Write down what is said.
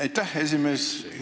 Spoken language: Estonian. Aitäh, esimees!